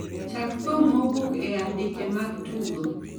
Chak thum mowuok e andike mag tugo